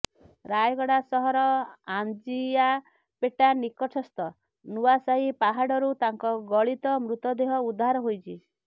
ରାୟଗଡ଼ା ସହର ଆଞ୍ଜିଆପେଟା ନିକଟସ୍ଥ ନୂଆସାହି ପାହାଡରୁ ତାଙ୍କ ଗଳିତ ମୃତଦେହ ଉଦ୍ଧାର ହୋଇଚି